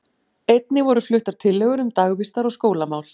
Einnig voru fluttar tillögur um dagvistar- og skólamál.